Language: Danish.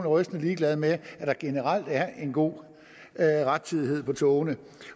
rystende ligeglad med at der generelt er en god rettidighed for togene